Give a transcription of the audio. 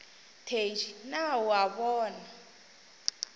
thedi na o a bona